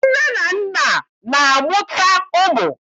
Nne na nna na-amụta ụmụ